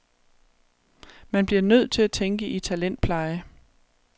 Man bliver nødt til at tænke i talentpleje.